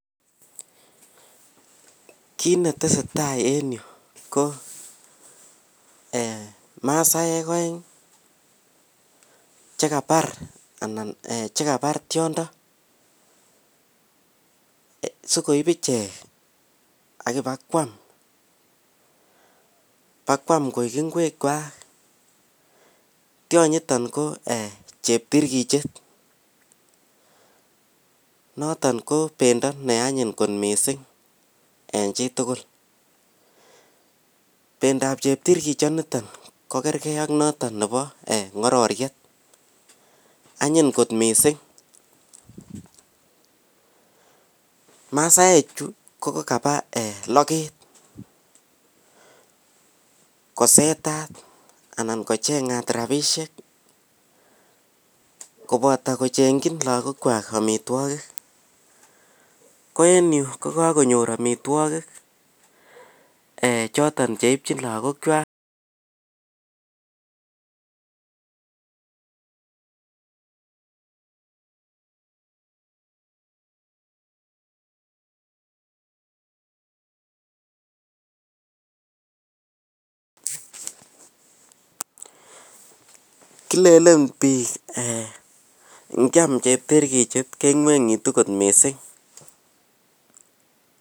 kiit netesetai en yu ko eeh masaek oeng chegabaar anan chegabaar tyondo sigoib ichek ak ibakwaam akwaam koek ngweek kwaak, tyoniton ko cheptirgichet noton ko bendo neanyiny kot mising en chitugul, pendo ab cheptirgichoniton ko kergee ak njoton nebo ngororiet, anyin kot mising, masaek chu ko kogaba logeet kosetat anan kochengat rabishek koboton kochengyin lagook kwaak omitwogik, ko en yu ko kagonyoor omitwogik choton cheibchin lagook kwaak kilelen biik nyaam cheptirgichet kengwengitu kot mising.